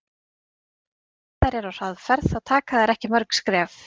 Ef þær eru á hraðferð þá taka þær ekki mörg skref.